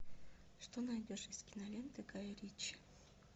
что найдешь из кинолент гая ричи